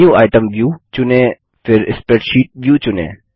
menu item view चुनें फिर spreadsheet view चुनें